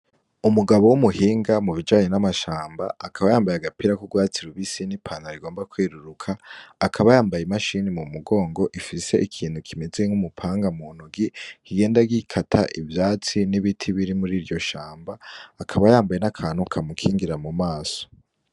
Umugabo w'umuhinga mu bijanye n'amashamba akaba yambaye agapira k'urwatsilubisi n'i pantarigomba kwiruruka akaba yambaye imashini mu mugongo ifise ikintu kimeze nk'umupanga mu nugi kigenda gikata ivyatsi n'ibiti biri muri iryo shamba akaba yambaye n'akantu kamukingira mu maso.